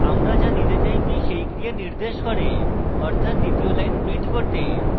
আমরা যা নিতে চাই p সেই ক্রিয়া নির্দেশ করে অর্থাৎ দ্বিতীয় line print করতে